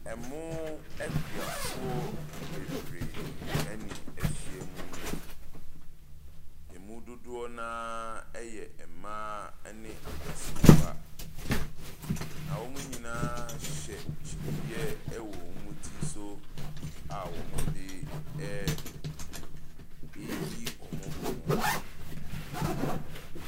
Ɛmooooo…akuafoɔ bebree na ahyia mu yi. Ɛmu dodoɔ no araaaa yɛ mmaaaa ne mmasiriwa. Na wɔn nyinaaaa, hyɛ kyiniiɛ wɔ wɔn ti so a wɔde re reyi wɔn mo.